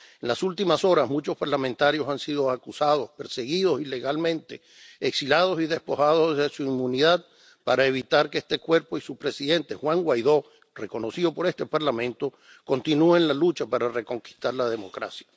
En las últimas horas muchos parlamentarios han sido acusados, perseguidos ilegalmente, exilados y despojados de su inmunidad, para evitar que este Cuerpo y su presidente, Juan Guaidó, reconocido por este Parlamento, continúen la lucha para reconquistar la democracia.